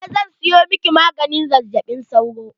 Eh zan siyo miki maganin zazzaɓin sauro.